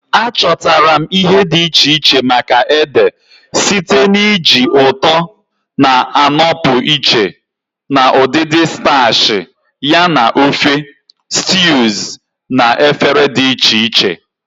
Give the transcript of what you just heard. Achọtara m ihe dị iche iche maka ede site na iji ụtọ na-anọpụ iche na udidi starchy ya na ofe, stews, na efere dị iche iche.